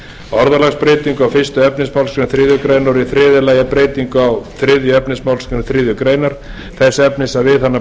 orðalagsbreytingu á fyrstu efnismgr þriðju greinar og í þriðja lagi breytingu á þriðja efnismgr þriðju greinar þess efnis að við hana